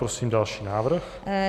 Prosím další návrh.